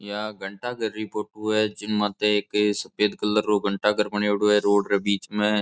या घंटा घर री फोटो है जिन माते एक सफेद कलर रो घंटाघर बनेडो है रोड रे बीच में।